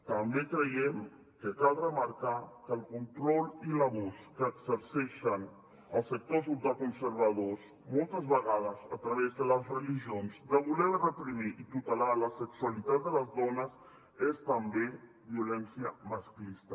també creiem que cal remarcar que el control i l’abús que exerceixen els sectors ultraconservadors moltes vegades a través de les religions de voler reprimir i tutelar la sexualitat de les dones és també violència masclista